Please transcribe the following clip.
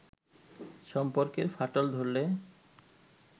সম্পর্কের ফাটল ধরলে